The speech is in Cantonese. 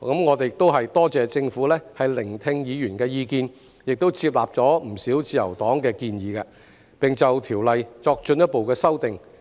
我多謝政府聆聽議員的意見，亦接納了自由黨的不少建議，並就《條例草案》作進一步修訂。